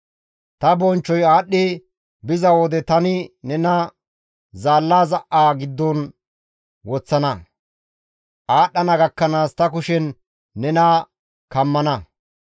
Ta bonchchoy aadhdhi biza wode tani nena zaalla za7a giddon woththana. Aadhdhana gakkanaas ta kushen nena kammana.